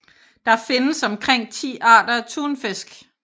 Der findes omkring 10 arter af tunfisk